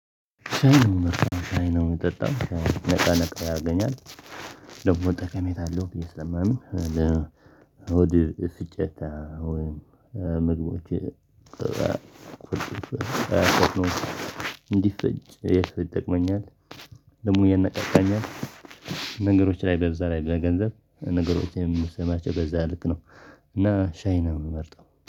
ሻይ ነው ሻይ ነው የምጠጣው ነገ ነገ ያገኛል። ደግሞ ጠቀሜታ አለው ብዬ ስሰማም ለውድ ስጨታ ወይም ምግቦች እንዲሰጭ ይጠቅመኛል። ደግሞ እየነጠቀኝ ነገሮች ላይ በዛ ላይ በገንዘብ ነገሮችን የምሰማቸው በዛ ልክ ነው። እና ሻይናውን መርጠው